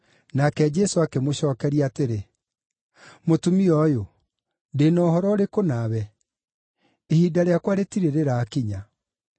Nake Jesũ akĩmũcookeria atĩrĩ, “Mũtumia ũyũ, ndĩ na ũhoro ũrĩkũ nawe? Ihinda rĩakwa rĩtirĩ rĩrakinya.”